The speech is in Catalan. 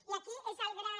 i aquí és el gran